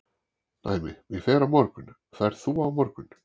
Dæmi: ég fer á morgun, ferðu á morgun?